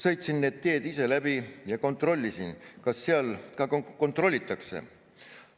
Sõitsin need teed ise läbi ja kontrollisin, kas seal ka kontrollitakse.